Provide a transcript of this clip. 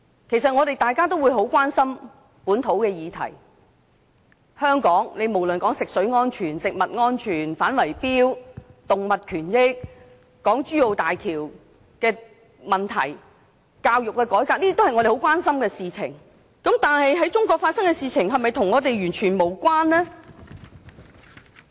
其實，大家都很關心本土的議題，在香港，無論是食水安全、食物安全、反圍標、動物權益、港珠澳大橋的問題、教育改革，都是我們很關心的議題，但在中國發生的事情是否與我們完全無關？